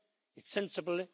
It's sensible.